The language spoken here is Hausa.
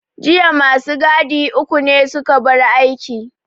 Jiya ma su gadi uku ne su ka bar aiki.